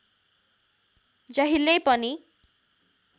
जहिल्यै पनि